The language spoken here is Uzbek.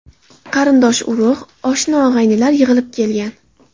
Qarindosh-urug‘, oshna-og‘aynilar yig‘ilib kelgan.